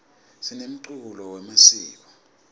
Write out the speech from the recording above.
sinemculo wemasiko